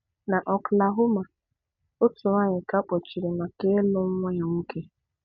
Na Oklahoma, otú nwaanyị ka a kpọchiri maka ịlụ́ nwa ya nwoke.